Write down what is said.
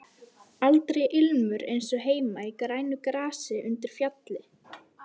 Aldrei ilmur eins og heima í grænu grasi undir fjalli.